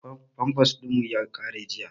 Famfas ɗin mu ya ƙare jiya